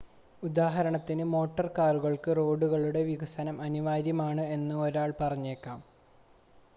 ഉദാഹരണത്തിന് മോട്ടോർ കാറുകൾക്ക് റോഡുകളുടെ വികസനം അനിവാര്യമാണ് എന്ന് 1 ആൾ പറഞ്ഞേക്കാം